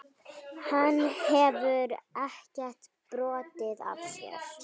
Hann hefur ekkert brotið af sér.